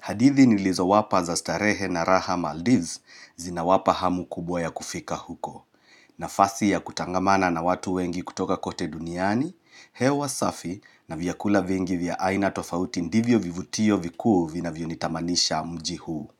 Hadithi nilizowapa za starehe na raha Maldives zinawapa hamu kubwa ya kufika huko. Nafasi ya kutangamana na watu wengi kutoka kote duniani, hewa safi na viyakula vengi vya aina tofauti ndivyo vivutio viku vina vionitamanisha mjihu.